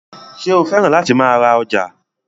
Ṣé o fẹ́ràn láti máa ra ọjà?